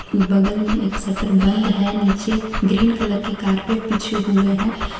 बगल में एक सटर बंद है नीचे ग्रीन कलर के कारपेट बिछे हुए हैं।